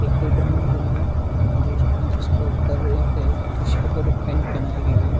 एक डम्मी है यहाँ जिस जिसके ऊपर एक टी-शर्ट और एक पैंट पहनाई गई है।